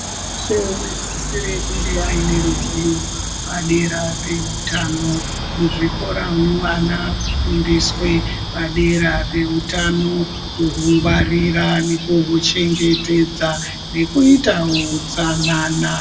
Muntu weshe unosisire kunge aine ruzivo padera pehutano. Muzvikoramwo vana akufundiswa padera pehutano, kuhungwarira nekuhuchengetedza nekuita utsanana.